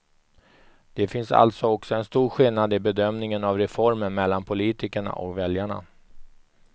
Det finns alltså också en stor skillnad i bedömningen av reformen mellan politikerna och väljarna.